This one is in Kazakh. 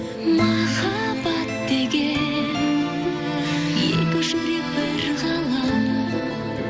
махаббат деген екі жүрек бір ғалам